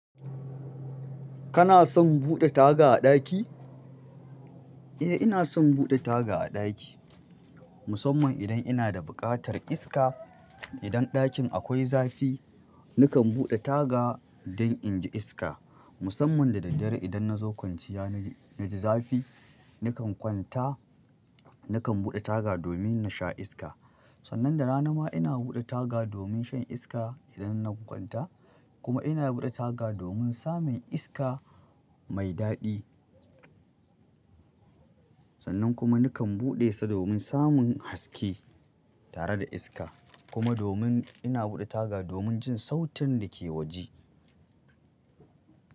Kana son buɗe taga a ɗaki? Eh ina son buɗe taga a ɗaki. Musamman idan ina da buƙatar iska. Idan ɗakin akwai zafi, nakan buɗe taga don inji iska. Musamman da daddare idan na zo kwanciya na ji --naji zafi nakan kwanta nakan buɗe taga domin na sha iska. Sannan da rana ma ina buɗe taga domin shan iska idan na kwanta kuma ina buɗe taga domin samin iska mai daɗi. Sannan kuma nakan buɗe sa domin samun haske, tare da iska kuma domin ina buɗe taga domin jin sautin da ke waje.